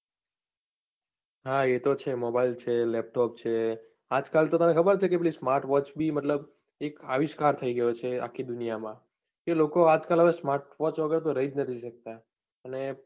હા એ તો છે mobile છે, laptop છે, આજ કાલ તો તને ખબર છે પેલી smart watch બી મતલબ એક આવિષ્કાર થઈ ગયો છે આખી દુનિયા માં કે લોકો આજકાલ હવે smart watch વગર તો રહી જ નથી શકતા અને